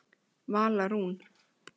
Vala Rún.